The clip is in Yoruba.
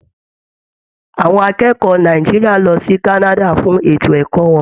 Àwọn akẹ́kọ̀ọ́ Nàìjíríà lọ sí Canada fún ètò ẹkọ wọn.